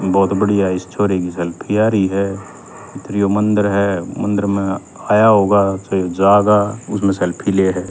ब्होत बढ़िया इस छोरे की सेल्फ़ी आ री ह फेर यो मंदर हमंदर म आया होगा च यो जागा उसम्ह सेल्फ़ी ले ह।